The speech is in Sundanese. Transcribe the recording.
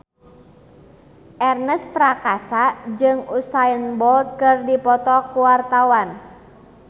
Ernest Prakasa jeung Usain Bolt keur dipoto ku wartawan